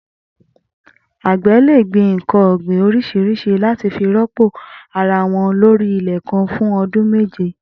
Agbẹ̀ lé gbin nkàn ọ̀gbín óriṣiriṣì làtí fi rọ̀pó árawọ̀n lóri ilẹ̀ kàn fù ọ̀dùn méjé